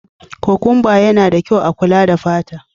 Kukumba yana da kyau a kula da fata.